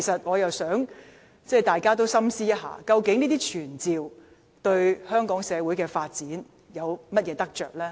我希望大家深思，究竟傳召議案對香港社會的發展有何得益？